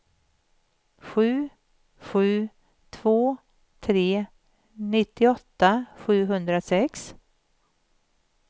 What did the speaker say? sju sju två tre nittioåtta sjuhundrasex